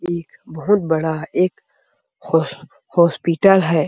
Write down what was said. एक बहुत बड़ा एक होस हॉस्पिटल है।